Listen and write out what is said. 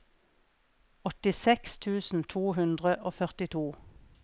åttiseks tusen to hundre og førtito